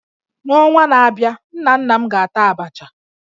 N'ọnwa na-abịa, nna nna m ga-ata Abacha